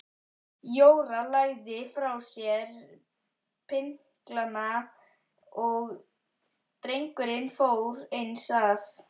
Jóra lagði frá sér pinklana og drengurinn fór eins að.